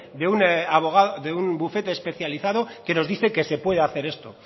de un bufete especializado que nos dice que se puede hacer esto